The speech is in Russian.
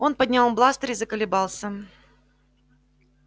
он поднял бластер и заколебался